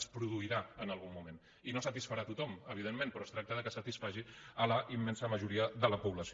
es produirà en algun moment i no satisfarà tothom evidentment però es tracta que satisfaci la immensa majoria de la població